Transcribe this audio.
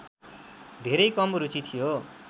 धेरै कम रुचि थियो